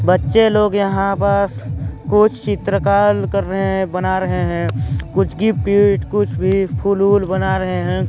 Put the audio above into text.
बच्चे लोग यहाँ पास कुछ चित्रकार कर रहे हैं बना रहे हैं कुछ गिफ्ट कुछ भी फुल वूल बना रहे हैं।